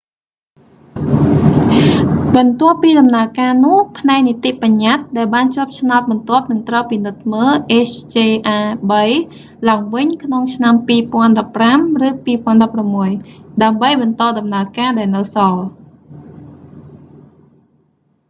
បន្ទាប់ពីដំណើរការនោះ ផ្នែកនីតិបញ្ញតិ្តដែលបានជាប់ឆ្នោតបន្ទាប់នឹងត្រូវពិនិត្យមើល hjr-3 ឡើងវិញក្នុងឆ្នាំ 2015 ឬ 2016 ដើម្បីបន្តដំណើរការដែលនៅសល់